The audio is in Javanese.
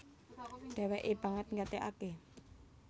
Dhèwèkè banget nggatèkaké